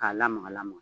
K'a lamaga lamaga